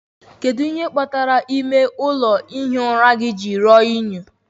Kedu ihe kpatara ime ụlọ ihi ụra gị ji ruo unyi?